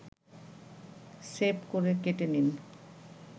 shape করে কেটে নিন